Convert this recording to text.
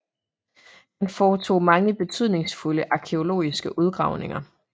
Han foretog mange betydningsfulde arkæologiske udgravninger